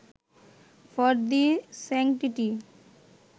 for the sanctity